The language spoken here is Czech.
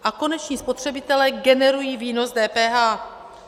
A koneční spotřebitelé generují výnos DPH.